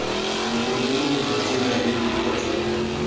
bogodimong jwa tsela eo kgotsa